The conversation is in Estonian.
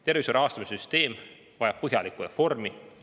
Tervishoiu rahastamise süsteem vajab põhjalikku reformi.